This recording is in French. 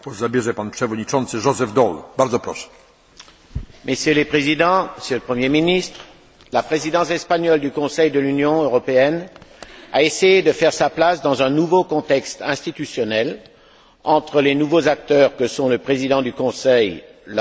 Messieurs les Présidents, Monsieur le Premier ministre, la Présidence espagnole du Conseil de l'Union européenne a essayé de faire sa place dans un nouveau contexte institutionnel, entre les nouveaux acteurs que sont le président du Conseil et la haute représentante, et la montée en puissance du Parlement européen